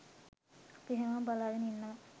අපි හැමෝම බලාගෙන ඉන්නවා.